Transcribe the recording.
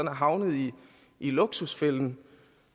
havnet i luksusfælden